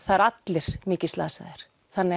það eru allir mikið slasaðir þannig